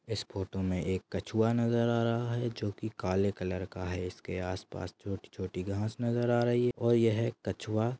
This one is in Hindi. इस फोटो मे एक कछुआ नजर आ रहा है जोकि काले कलर का है इसके आसपास छोटी-छोटी घास नजर आ रही है और यह एक कछुआ--